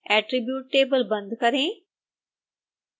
attribute table बंद करें